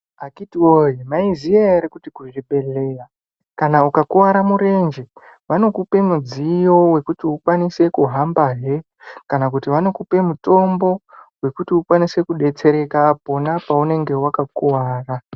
Akhiti woye maiziya here kuti kuzvibhedhleya kana ukakwara murenje wanokupe mudziyo wekuti ukwanise kuhambahe kana kuti wanokupe mutombo wekuti ukwanise kudetsereka pona paunenge wakakuvara.